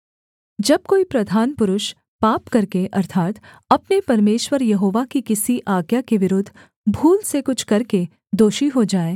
जब कोई प्रधान पुरुष पाप करके अर्थात् अपने परमेश्वर यहोवा कि किसी आज्ञा के विरुद्ध भूल से कुछ करके दोषी हो जाए